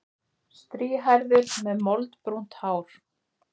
Strýhærður með moldbrúnt hár.